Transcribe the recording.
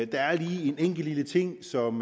der er lige en enkelt lille ting som